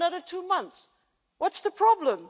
They have another two months what's the problem?